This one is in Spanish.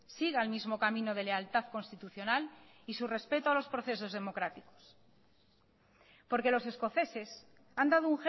siga el mismo camino de lealtad constitucional y su respeto a los procesos democráticos porque los escoceses han dado